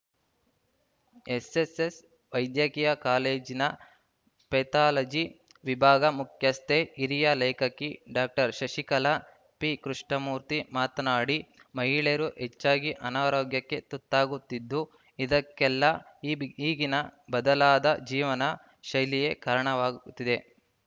SS ವೈದ್ಯಕೀಯ ಕಾಲೇಜಿನ pathology ವಿಭಾಗ ಮುಖ್ಯಸ್ಥೆ ಹಿರಿಯ ಲೇಖಕಿ ಡಾಕ್ಟರ್ ಶಶಿಕಲಾ ಪಿಕೃಷ್ಣಮೂರ್ತಿ ಮಾತನಾಡಿ ಮಹಿಳೆಯರು ಹೆಚ್ಚಾಗಿ ಅನಾರೋಗ್ಯಕ್ಕೆ ತುತ್ತಾಗುತ್ತಿದ್ದು ಇದಕ್ಕೆಲ್ಲಾ ಈಬಿ ಈಗಿನ ಬದಲಾದ ಜೀವನ ಶೈಲಿಯೇ ಕಾರಣವಾಗುತ್ತಿದೆ